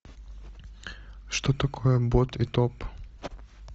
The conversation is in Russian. что такое бот и топ